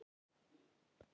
Þér veitir ekki af.